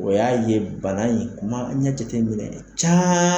O y'a ye bana in kuma an ɲa jate minɛ ca